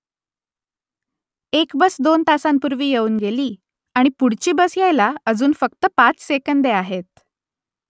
एक बस दोन तासांपूर्वी येऊन गेली आणि पुढची बस यायला अजून फक्त पाच सेकंदे आहेत